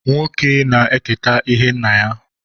Nwoke na-eketa ihe nna ya.